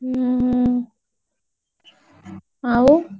ଉଁ ହୁଁ ଆଉ?